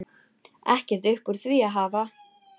Ekkert upp úr því að hafa?